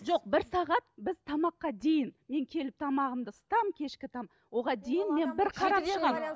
жоқ бір сағат біз тамаққа дейін мен келіп тамағымды ысытамын кешкі оған дейін мен бір қарап шығамын